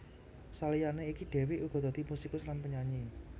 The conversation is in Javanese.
Saliyané iku Dewiq uga dadi musikus lan penyanyi